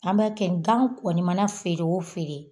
An b'a kɛ gan kɔni feere o feere